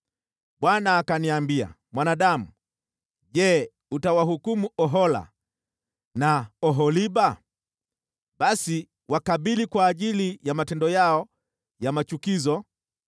Bwana akaniambia, “Mwanadamu, Je, utawahukumu Ohola na Oholiba? Basi wakabili kwa ajili ya matendo yao ya machukizo,